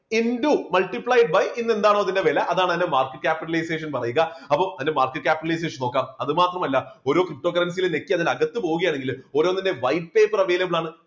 into multiplied by ഇന്നെന്താണോ അതിൻറെ വില അതാണ് അതിന്റെ market capitalization പറയുക അപ്പോ അതിന്റെ market capitalization നോക്കാം അത് മാത്രമല്ല ഓരോ ptocurrency ലും ഞെക്കി അതിന്റെ അകത്തു പോകുകയാണെങ്കില് ഓരോന്നിന്റെയും white paper available ആണ്.